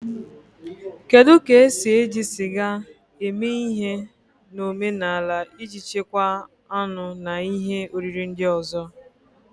Kedu ka esi eji sịga eme ihe na omenala iji chekwaa anụ na ihe oriri ndị ọzọ?